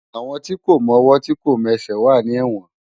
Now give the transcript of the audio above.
Awón ti kó mòwò ti kó mèsè wà ni èwòn